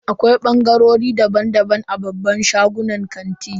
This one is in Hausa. Akwai bangarori daban-daban a babban shagunan kanti.